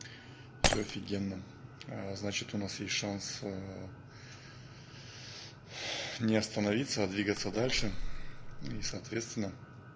всё офигенно значит у нас есть шанс не остановиться а двигаться дальше и соответственно